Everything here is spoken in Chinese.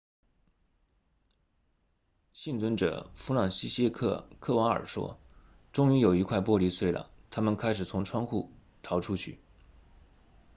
幸存者弗朗齐歇克科瓦尔说终于有一块玻璃碎了他们开始从窗户逃出去